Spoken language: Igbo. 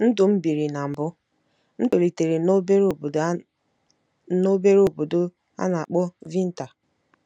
NDỤ M BIRI NA MBỤ: M tolitere n'obere obodo a n'obere obodo a na-akpọ Vintar.